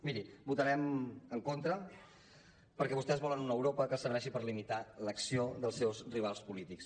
miri votarem en contra perquè vostès volen una europa que serveixi per limitar l’acció dels seus rivals polítics